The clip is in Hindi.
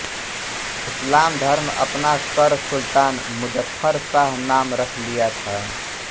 इस्लाम धर्म अपना कर सुल्तान मुज़फ्फर शाह नाम रख लिया था